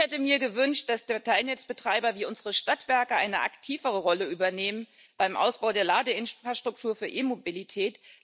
Ich hätte mir gewünscht, dass Teilnetzbetreiber wie unsere Stadtwerke eine aktivere Rolle übernehmen beim Ausbau der Ladeinfrastruktur für E Mobilität.